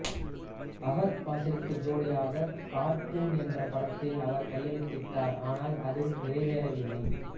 Fahd பாசிலுக்கு ஜோடியாக cartoon என்ற படத்தில் அவர் கையெழுத்திட்டார் ஆனால் அது நிறைவேறவில்லை